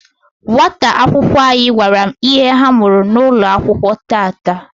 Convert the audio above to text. nwata akwụkwọ anyị gwara m ihe ha mụrụ N'ụlọakwụkwọ tata.